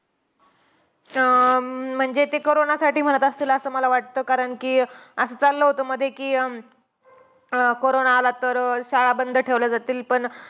अं म्हणजे ते कोरोनासाठी म्हणत असतील. असं मला वाटतं कारण कि असं चाललं होतं मध्ये कि अं corona आला, तर शाळा बंद ठेवल्या जातील. पण